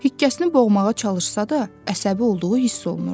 Hikkəsini boğmağa çalışsa da, əsəbi olduğu hiss olunurdu.